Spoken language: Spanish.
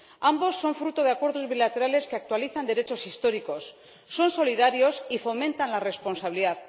Ambos son fruto de acuerdos bilaterales que actualizan derechos históricos, son solidarios y fomentan la responsabilidad.